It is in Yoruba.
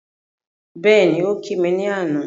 Bẹ́ẹ̀ni, ó kí mi ní àná